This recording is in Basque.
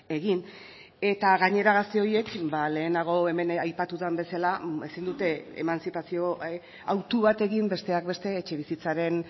egin eta gainera gazte horiek lehenago hemen aipatu den bezala ezin dute emantzipazio autu bat egin besteak beste etxebizitzaren